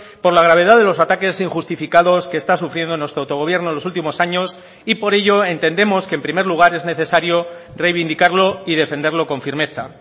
por la gravedad de los ataques injustificados que está sufriendo nuestro autogobierno en los últimos años y por ello entendemos que en primer lugar es necesario reivindicarlo y defenderlo con firmeza